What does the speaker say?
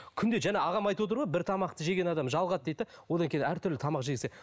күнде жаңа ағам айтып отыр ғой бір тамақты жеген адам жалығады дейді де одан кейін әртүрлі тамақ жегісі